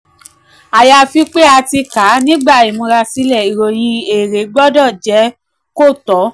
ayafi pé a ti um kà á nígbà ìmúrasílẹ̀ ìròyìn èrè um gbọdọ̀ jẹ́ kò tọ.